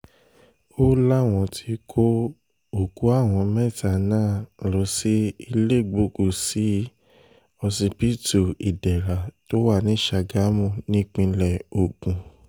ó láwọn ti kó òkú àwọn mẹ́ta náà lọ sí iléegbòku-sí ọsibítù ìdẹ̀ra tó wà ní sàgámù nípìnlẹ̀ ogun